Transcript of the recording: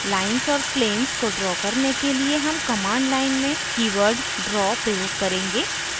lines और planes को draw करने के लिए हम command line में कीवर्ड draw प्रयोग करेंगे